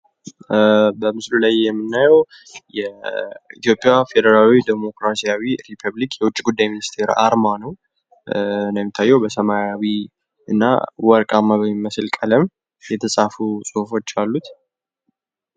በምስሉ ላይ የምናዬው የኢትዮጵያ ፌደራላዊ ዴሞክራሲያዊ ሪፐፕሊክ የውጭ ጉዳይ ሚኒስተር አርማ ነው። እንደሚታዬው በሰማያዊና ወርቃማ በሚመስል ቀለም የተፃፉ ፅሁፎች አሉት።